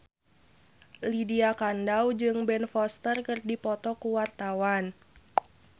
Lydia Kandou jeung Ben Foster keur dipoto ku wartawan